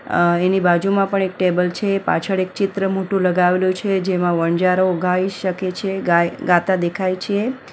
અહ એની બાજુમાં પણ એક ટેબલ છે પાછળ એક ચિત્ર મોટું લગાવેલું છે જેમાં વણજારો ગાઈ શકે છે ગાઈ ગાતા દેખાય છે.